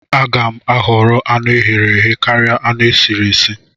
Aga m ahọrọ anụ eghere eghe karia anụ esiri esi